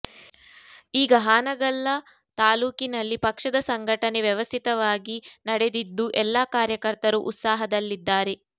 ಈಗ ಹಾನಗಲ್ಲ ತಾಲೂಕಿನಲ್ಲಿ ಪಕ್ಷದ ಸಂಘಟ ನೆ ವ್ಯವಸ್ಥಿತವಾಗಿ ನಡೆದಿದ್ದು ಎಲ್ಲ ಕಾರ್ಯಕರ್ತರು ಉತ್ಸಾಹದಲ್ಲಿದ್ದಾರೆ